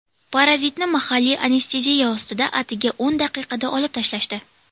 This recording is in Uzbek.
Parazitni mahalliy anesteziya ostida atigi o‘n daqiqada olib tashlashdi.